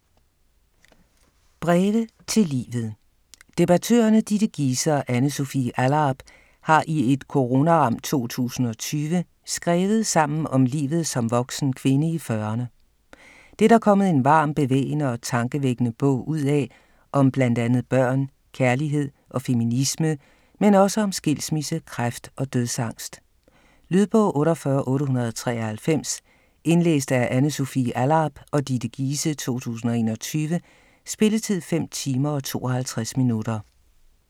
Breve til livet Debattørerne Ditte Giese og Anne Sofie Allarp har i et coronaramt 2020 skrevet sammen om livet som voksen kvinde i 40'erne. Det er der kommet en varm, bevægende og tankevækkende bog ud af om bl.a. børn, kærlighed og feminisme, men også om skilsmisse, kræft og dødsangst. Lydbog 48893 Indlæst af Anne Sofie Allarp og Ditte Giese, 2021. Spilletid: 5 timer, 52 minutter.